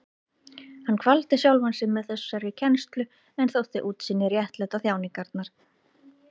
Hann kvaldi sjálfan sig með þessari kennslu en þótti útsýnið réttlæta þjáningarnar.